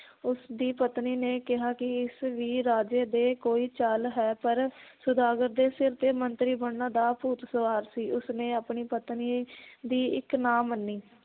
ਉਸ ਦੀ ਪਤਨੀ ਨੇ ਕਿਹਾ ਕਿ ਇਸ ਵੀ ਰਾਜੇ ਦੇ ਕੋਈ ਚਾਲ ਹੈ ਪਰ ਸੌਦਾਗਰ ਦੇ ਸਿਰ ਤੇ ਮੰਤਰੀ ਬਣਨ ਦਾ ਭੂਤ ਸਵਾਰ ਸੀ ਉਸ ਨੇ ਆਪਣੀ ਪਤਨੀ ਦੀ ਇੱਕ ਨਾ ਮੰਨੀ